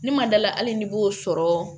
Ne ma da la hali n'i b'o sɔrɔ